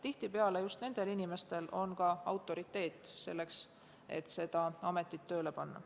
Tihtipeale on just nendel inimestel ka piisavalt autoriteeti, et see amet tööle panna.